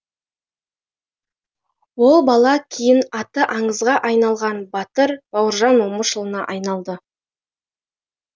ол бала кейін аты аңызға айналған батыр бауыржан момышұлына айналады